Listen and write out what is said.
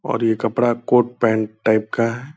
और ये कपड़ा कोट पेंट टाइप का है।